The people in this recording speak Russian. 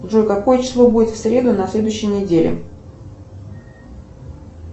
джой какое число будет в среду на следующей неделе